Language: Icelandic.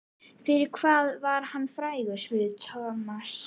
Fyrir hvað var hann frægur? spurði Thomas.